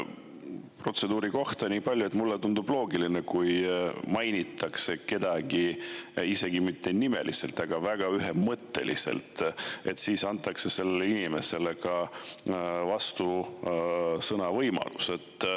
Protseduuri kohta niipalju, et mulle tundub loogiline, et kui kedagi mainitakse, isegi nimeliselt, aga väga ühemõtteliselt, siis antakse sellele inimesele võimalus vastusõnavõtuks.